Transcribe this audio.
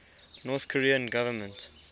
north korean government